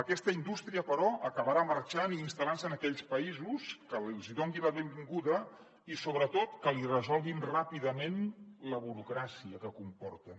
aquesta indústria però acabarà marxant i instal·lant se en aquells països que li donin la benvinguda i sobretot que li resolguin ràpidament la burocràcia que comporten